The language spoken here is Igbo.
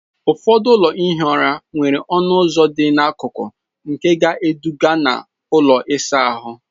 Ụfọdụ ụlọ ihi ụra nwere ọnụ ụzọ dị n'akụkụ nke na-eduga na ụlọ ịsa ahụ.